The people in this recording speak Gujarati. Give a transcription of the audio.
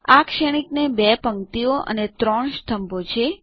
આ શ્રેણીકને 2 પંક્તિઓ અને 3 સ્તંભો છે